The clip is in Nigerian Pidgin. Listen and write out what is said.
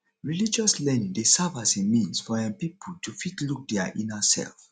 religious learning dey serve as a means for um pipo to fit look their inner self